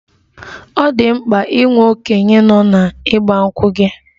Ọ dị mkpa inwe okenye nọ na 'Igba nkwu' gị?